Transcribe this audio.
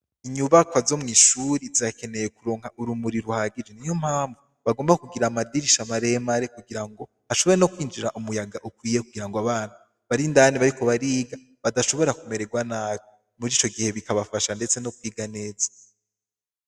Inyubakwa zomwishure zirakeneye kuronka urumuri ruhagije niyompamvu bagomba kugira amadirisha maremare kugira ngo hashobore nokwinjira umuyaga ukwiye kugirango abana barindani bariko bariga badashobora kumererwa nabi murico gihe bikabafasha ndetse nokwiga neza